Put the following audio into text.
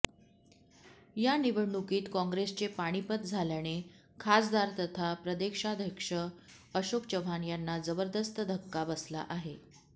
या निवडणुकीत काँग्रेसचे पानीपत झाल्याने खासदार तथा प्रदेशाध्यक्ष अशोक चव्हाण यांना जबरदस्त धक्का बसला आहे